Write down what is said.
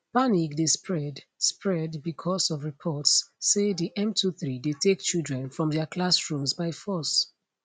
panic dey spread spread becos of reports say di m23 dey take children from dia classrooms by force